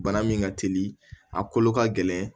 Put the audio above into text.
Bana min ka teli a kolo ka gɛlɛn